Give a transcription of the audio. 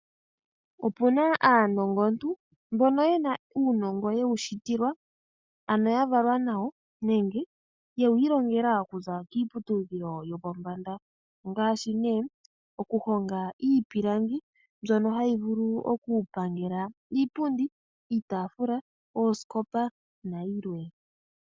Opuna aanongo ntu mbono yena uunongo yewu shitilwa ano yavalwa nawo nenge yewu ilongela okuza kiiputudhilo yopombanda. Ngaashi okuhonga iipilangi mbyono hayi vulu okupangela iipundi, iitaafula, oosikopa nayi lwe.